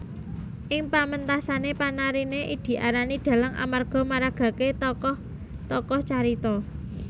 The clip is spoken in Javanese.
Ing pamentasané panariné diarani dhalang amarga maragakaké tokoh tokoh carita